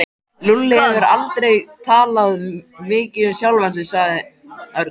Lúlli hefur aldrei talað mikið um sjálfan sig sagði Örn.